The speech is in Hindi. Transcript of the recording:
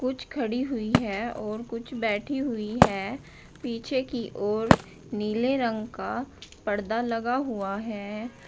कुछ खड़ी हुई है और कुछ बैठी हुई है पीछे की ओर नीले रंग का पर्दा लगा हुआ है।